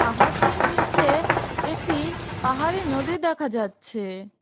পাহাড়টির নীচে একটি পাহাড়ি নদী দেখা যাচ্ছে।